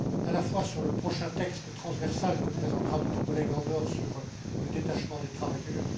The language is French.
Cela concerne le prochain texte transversal que présentera notre collègue Andor sur le détachement des travailleurs.